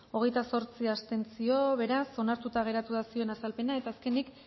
hogeita zortzi abstentzio beraz onartuta geratu da zioen azalpena eta azkenik